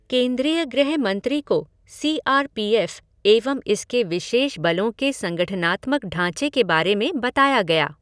केन्द्रीय गृह मंत्री को सी आर पी एफ़ एवं इसके विशेष बलों के संगठनात्मक ढांचे के बारे में बताया गया।